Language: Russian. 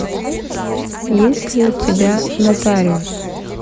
есть ли у тебя нотариус